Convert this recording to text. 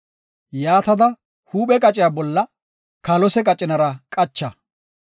Yaatada huuphiya qaciya bolla kaalose qacinara qacha.